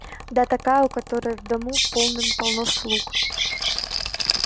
да такая у которой в дому полным-полно слуг